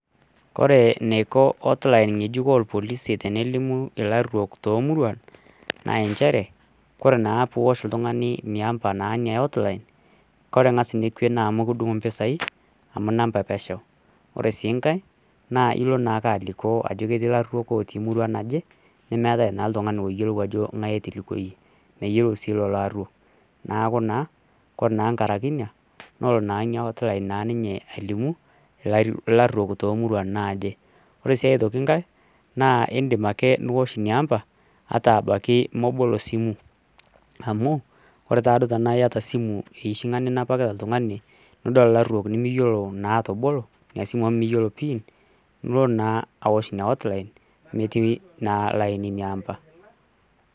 Ore eniko potline ng'ejuk irpolisi tenelimu ajo elruok too muruan naa teniosh naa oltung'ani nambai hotline amu mikidung empisai amu enepeshore enkae elo ake alikio Ajo ketii elaruok otii emurua naje nemeeta naa oltung'ani oyiolou Ajo ngae Ajo natolikio neeku ore enkerai ena ore naa ena hotline alimu elaruok too muruan Anke ore sii enkae edim atoshoo Nena amba ata mebolo simu amuu ore tenaa eyaataa esimu ninapita nimiyiolo naa atabolo enasimu amu miyiolo pin nilo awosh ena hotline metii naa laini number